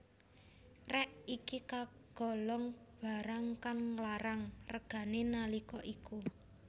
Rèk iki kagolong barang kang larang regané nalika iku